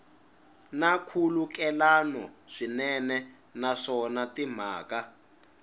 na nkhulukelano swinene naswona timhaka